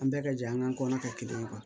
An bɛɛ ka jɛ an ka kɔnɔ kɛ kelen ye